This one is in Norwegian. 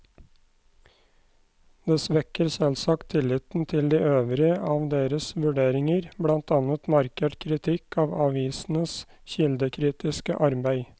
Det svekker selvsagt tilliten til de øvrige av deres vurderinger, blant annet markert kritikk av avisenes kildekritiske arbeid.